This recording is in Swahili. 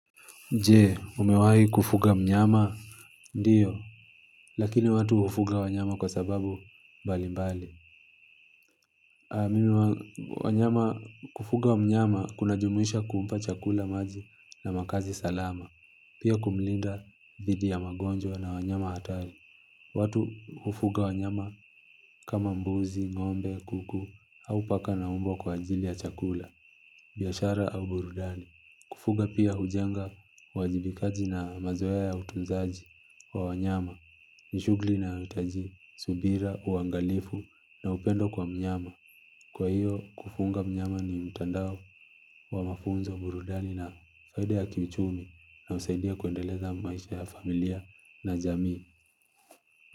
Jee, umewahi kufuga mnyama? Ndiyo, lakini watu hufuga wanyama kwa sababu mbalimbali. Mimi huwa wanyama kufuga mnyama kunajumisha kumpa chakula maji na makazi salama. Pia kumlinda dhidi ya magonjwa na wanyama hatari. Watu hufuga wanyama kama mbuzi, ng'ombe, kuku, au paka na mbwa kwa ajili ya chakula, biashara au burudani. Kufuga pia hujenga uwajibikaji na mazoea ya utunzaji. Kwa wanyama, ni shugli na utaji, subira, uangalifu na upendo kwa mnyama. Kwa hiyo, kufunga mnyama ni mtandao wa mafunzo burudani na faida ya kiuchumi na husaidia kuendeleza maisha ya familia na jamii.